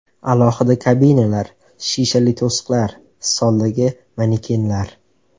Alohida kabinalar, shishali to‘siqlar, stoldagi manekenlar.